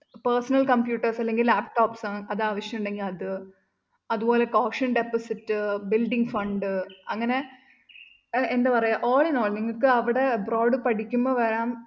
personal computers അല്ലെങ്കില്‍ laptops അത് ആവശ്യമുണ്ടെങ്കില്‍ അത് അതുപോലെ caution deposit building fund അങ്ങനെ എന്താ പറയുക all in all നിങ്ങള്‍ക്ക് അവിടെ abroad പഠിക്കുമ്പോ വരാന്‍